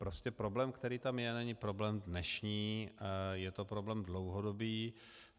Prostě problém, který tam je, není problém dnešní, je to problém dlouhodobý.